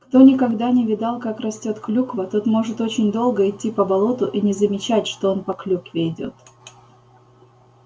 кто никогда не видал как растёт клюква тот может очень долго идти по болоту и не замечать что он по клюкве идёт